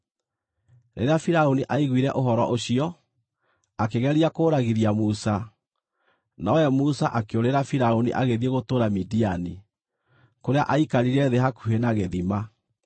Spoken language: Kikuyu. Rĩrĩa Firaũni aiguire ũhoro ũcio, akĩgeria kũũragithia Musa, nowe Musa akĩũrĩra Firaũni agĩthiĩ gũtũũra Midiani, kũrĩa aikarire thĩ hakuhĩ na gĩthima.